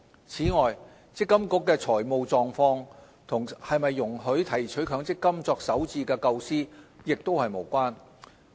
此外，積金局的財務狀況與是否容許提取強積金作首置的構思也是無關。